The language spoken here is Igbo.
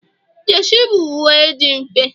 jesi bụ uwe dị mfe